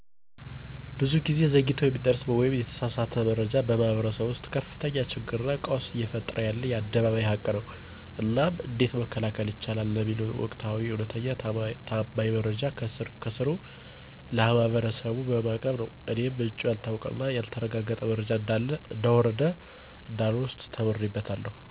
ብዙ ጊዜ ዘግይቶ የሚደረስ ወይም የተሳሳተ መረጃ በማህበረሰቡ ውስጥ ከፍተኛ ችግርና ቀውስ እየፈጠረ ያለ የአደባባይ ሀቅ ነው። እናም እንዴት መከላከል ይቻላል ለሚለው ወቅታዊ፣ እውነተኛና ታማኝ መረጃ ከስር ከስሩ ለማህበረሰቡ በማቅረብ ነው። እኔም ምንጩ ያልታወቀና ያልተረጋገጠ መረጃን እንዳለ እንደወረደ እንዳልወስድ ተምሬበታለሁ።